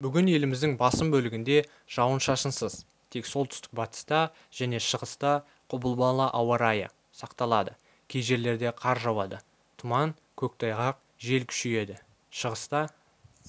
бүгін еліміздің басым бөлігінде жауын-шашынсыз тек солтүстік-батыста және шығыста құбылмалы ауа-райы сақталады кей жерлерде қар жауады тұман көктайғақ жел күшейеді шығыста